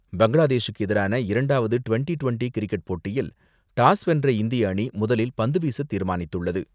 பங்களாதேசுக்கு எதிரான இரண்டாவது twenty twenty cricket போட்டியில் டாஸ் வென்ற இந்திய அணி முதலில் பந்து வீச தீர்மானித்துள்ளது.